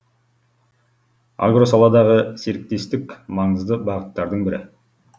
агросаладағы серіктестік маңызды бағыттардың бірі